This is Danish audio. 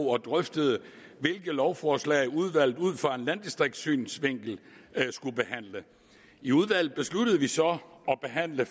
og drøftede hvilke lovforslag udvalget ud fra en landdistriktssynsvinkel skulle behandle i udvalget besluttede vi så at behandle